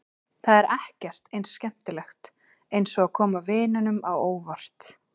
Það er ekkert eins skemmtilegt eins og að koma vinunum á óvart.